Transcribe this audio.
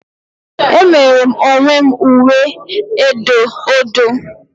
Emere m onwe m uwe edo odo